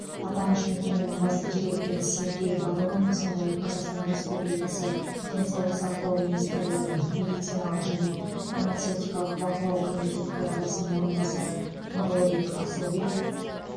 аталмыш мекеменің бас директоры сергей барон сондай ақ қазақстан республикасы денсаулық сақтау министрлігінің медициналық және фармацевтикалық бақылау комитеті төрағасы орынбасары нұрлыбек асылбек